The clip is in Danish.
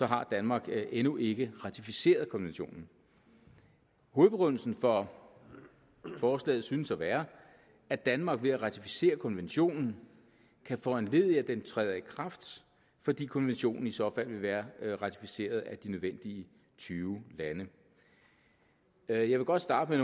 har danmark endnu ikke ratificeret konventionen hovedbegrundelsen for forslaget synes at være at danmark ved at ratificere konventionen kan foranledige at den træder i kraft fordi konventionen i så fald vil være ratificeret af de nødvendige tyve lande jeg vil godt starte